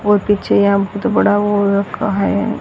और पीछे यहां बहुत बड़ा वो रखा है।